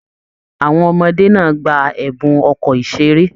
Àwọn ọmọdé náà gbà ẹbùn ọkọ iṣere.